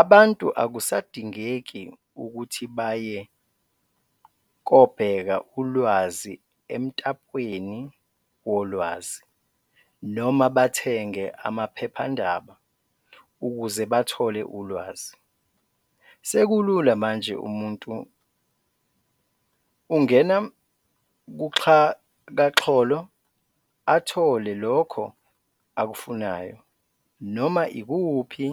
Abantu akusadingeki ukuthi baye kobheka ulwazi emtapweni wolwazi noma bathenge amaphephandaba ukuze bathole ulwazi, sekulula manje umuntu ungena kuxhakaxholo athole lokho akufunayo noma ikuphi